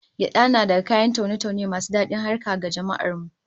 Gyada na daga kayan taune-taune masu dadin harkar ga jama'ar mu